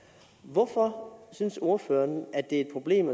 hvorfor synes ordføreren at det er et problem